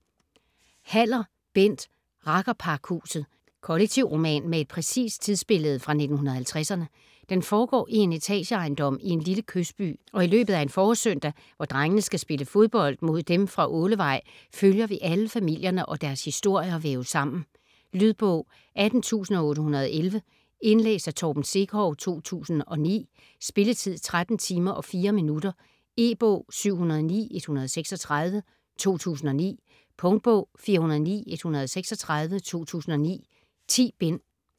Haller, Bent: Rakkerpakhuset Kollektivroman med et præcist tidsbillede fra 1950'erne. Den foregår i en etageejendom i en lille kystby og i løbet af en forårssøndag, hvor drengene skal spille fodbold mod dem fra Ålevej, følger vi alle familierne, og deres historier væves sammen. Lydbog 18811 Indlæst af Torben Sekov, 2009. Spilletid: 13 timer, 4 minutter. E-bog 709136 2009. Punktbog 409136 2009. 10 bind.